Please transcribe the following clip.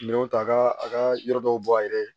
Minɛnw ta ka a ka yɔrɔ dɔw bɔ a yɛrɛ ye